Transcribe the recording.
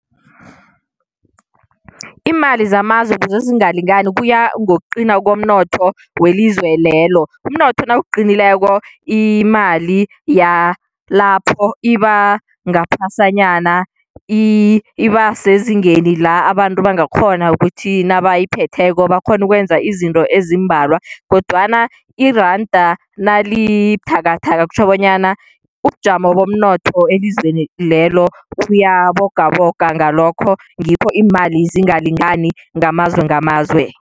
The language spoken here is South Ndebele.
Imali zamazwe ukuze zingalingani kuya ngokuqina komnotho welizwe lelo. Umnotho nawuqinileko imali yalapho iba ngaphasanyana, iba sezingeni la abantu bangakghona ukuthi nabayiphetheko bakghone ukwenza izinto ezimbalwa, kodwana iranda nalibuthakathaka kutjho bonyana ubujamo bomnotho elizweni lelo uyabogaboga, ngalokho ngikho iimali zingalingani ngamazwe ngamazwe.